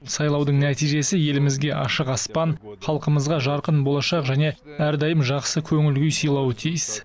сайлаудың нәтижесі елімізге ашық аспан халқымызға жарқын болашақ және әрдайым жақсы көңіл күй сыйлауы тиіс